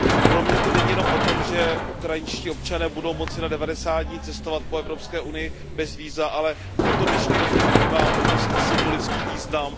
Pro mě to není jenom o tom, že ukrajinští občané budou moci na devadesát dní cestovat po Evropské unii bez víza, ale toto dnešní rozhodnutí má obrovský symbolický význam.